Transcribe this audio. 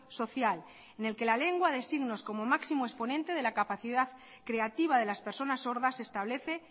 social en el que la lengua de signos como máximo exponente de la capacidad creativa de las personas sordas se establece